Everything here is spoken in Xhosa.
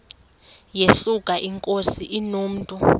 yesuka inkosi inomntu